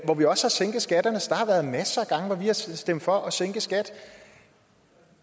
hvor vi også har sænket skatterne så der har været masser af gange hvor vi har stemt for at sænke skatterne